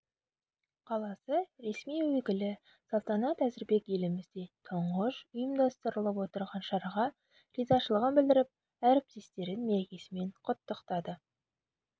қаласы ресми өкілі салтанат әзірбек елімізде тұңғыш ұйымдастырылып отырған шараға ризашылығын білдіріп әріптестерін мерекесімен құттықтады